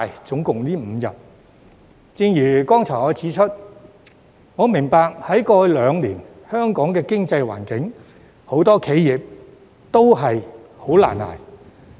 正如我剛才指出，我明白過去兩年香港的經濟環境令很多企業難以支撐。